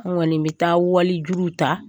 An kɔni mi taa wali juruw ta.